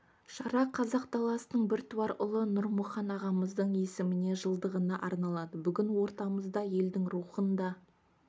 шара қазақ даласының біртуар ұлы нұрмұхан ағамыздың есіміне жылдығына арналады бүгін ортамызда елдің рухын да